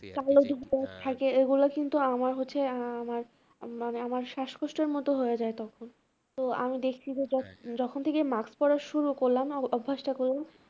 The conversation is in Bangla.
থাকে ওগুলো কিন্তু আমার হচ্ছে আহ আমার মানে আমার শাসকষ্টের মতো হয়ে যায় তখন, তো আমি দেখছি যে জখ~ যখন থেকে mask পড়া শুরু করলাম অভ্যাসটা